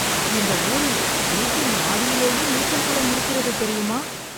இந்த ஊரில், வீட்டின் மாடியிலேயே நீச்சல்குளம் இருக்கிறது தெரியுமா!